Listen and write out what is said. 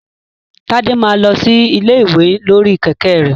Tade máa lọ sí ilé ìwé lórí kẹ̀kẹ́ rẹ̀.